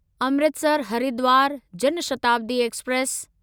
Amritsar Haridwar Jan Shatabdi express